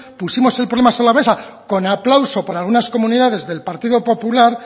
pusimos el problema sobre la mesa con aplauso por algunas comunidades del partido popular